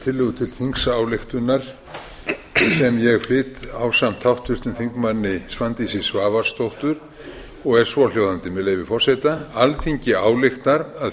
þingsályktunar sem ég flyt ásamt háttvirtum þingmanni svandísi svavarsdóttur og er svohljóðandi með leyfi forseta alþingi ályktar að